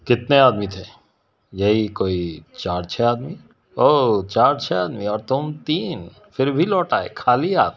कितने आदमी थे यही कोई चार-चार आदमी ओ चार-चार आदमी और तुम तीन फिर भी लौट आए खाली हाथ--